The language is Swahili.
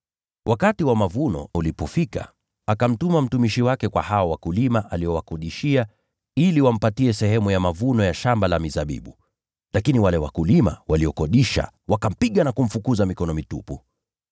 Wakati wa mavuno ulipofika, akamtuma mtumishi wake kwa hao wapangaji ili wampe sehemu ya mavuno ya shamba la mizabibu. Lakini wale wakulima wakampiga, wakamfukuza mikono mitupu.